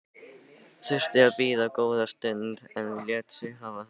Þurfti að bíða góða stund en lét sig hafa það.